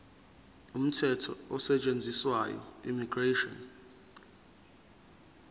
umthetho osetshenziswayo immigration